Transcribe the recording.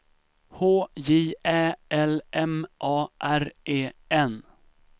H J Ä L M A R E N